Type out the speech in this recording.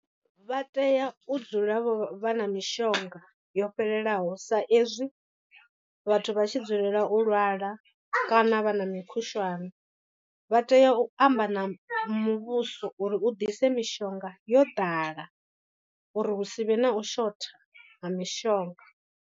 Vha tea u dzula vha na mishonga yo fhelelaho sa ezwi vhathu vha tshi dzulela u lwala kana vha na mikhushwane. Vha tea u amba na muvhuso uri u ḓise mishonga yo ḓala uri hu si vhe na u shotha ha mishonga.